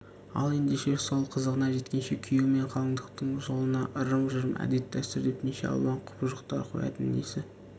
ал ендеше сол қызығына жеткенше күйеу мен қалыңдықтың жолына ырым-жырым әдет-дәстүр деп неше алуан құбыжықтар қоятыны несі